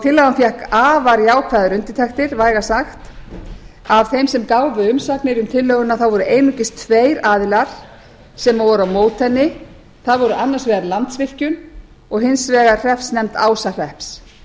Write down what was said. tillagan fékk afar jákvæðar undirtektir vægast sagt af þeim sem gáfu umsagnir um tillöguna voru einungis tveir aðilar sem voru á móti henni það var annars vegar landsvirkjun og hins vegar hreppsnefnd ásahrepps